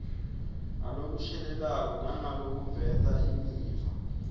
ngalokushelelako nangalokuveta imiva